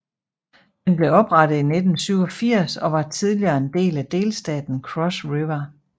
Den blev oprettet i 1987 og var tidligere en del af delstaten Cross River